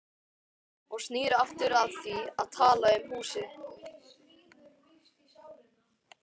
Og snýr aftur að því að tala um húsið.